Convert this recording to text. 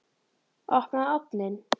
Opnaðu ofninn!